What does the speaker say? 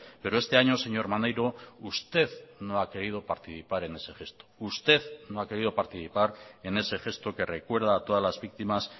pero este año señor maneiro usted no ha querido participar en ese gesto usted no ha querido participar en ese gesto que recuerda a todas las víctimas